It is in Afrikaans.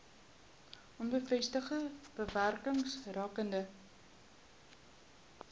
onbevestigde bewerings rakende